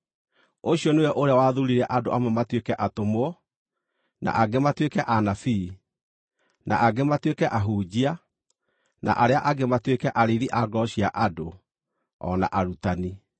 Ũcio nĩwe ũrĩa wathuurire andũ amwe matuĩke atũmwo, na angĩ matuĩke anabii, na angĩ matuĩke ahunjia, na arĩa angĩ matuĩke arĩithi a ngoro cia andũ o na arutani,